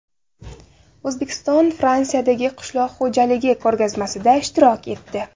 O‘zbekiston Fransiyadagi qishloq xo‘jaligi ko‘rgazmasida ishtirok etdi.